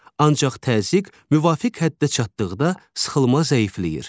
Ancaq təzyiq müvafiq həddə çatdıqda sıxılma zəifləyir.